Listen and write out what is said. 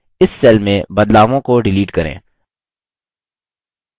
इस cell में बदलावों को डिलीट करें